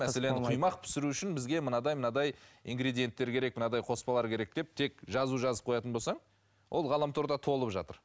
мәселен құймақ пісіру үшін бізге мынадай мынадай ингридиенттер керек мынадай қоспалар керек деп тек жазу жазып қоятын болсаң ол ғаламторда толып жатыр